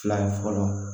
Fila ye fɔlɔ